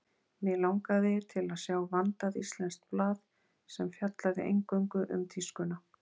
Mig langaði til að sjá vandað íslenskt blað, sem fjallaði eingöngu um tískuna.